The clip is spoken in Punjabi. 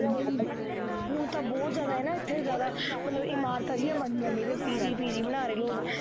ਹੁਣ ਤਾਂ ਬਹੁਤ ਜ਼ਿਆਦਾ ਹੈ ਨਾ ਇੱਥੇ ਜ਼ਿਆਦਾ ਮਤਲਬ ਕਿ ਮਾਲਕਾਂ ਦੀ ਨਾ ਮਰਜ਼ੀ ਹੈ ਜਿਵੇਂ PG ਬਣਾ ਲਉ।